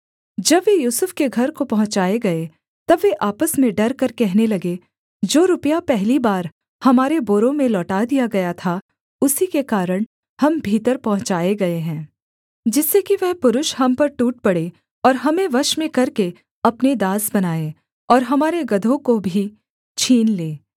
जब वे यूसुफ के घर को पहुँचाए गए तब वे आपस में डरकर कहने लगे जो रुपया पहली बार हमारे बोरों में लौटा दिया गया था उसी के कारण हम भीतर पहुँचाए गए हैं जिससे कि वह पुरुष हम पर टूट पड़े और हमें वश में करके अपने दास बनाए और हमारे गदहों को भी छीन ले